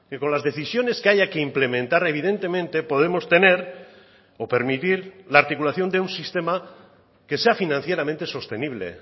con las decisiones que haya que implementar evidentemente podemos tener o permitir la articulación de un sistema que sea financieramente sostenible